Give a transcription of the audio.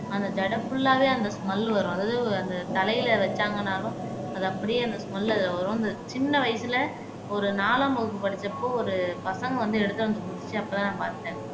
அந்த ஜடை புல்லாவே அந்த ஸ்மெல் வரும் அதாவது அந்த தலையில வச்சாங்கனாலும் அது அப்படியே அந்த ஸ்மெல் அதுல வரும் அந்த சின்ன வயசுல ஒரு நாலாம் வகுப்பு படிச்சப்போ ஒரு பசங்க வந்து எடுத்து வந்து குடுத்துச்சு அப்பதான் நான் பாத்தேன்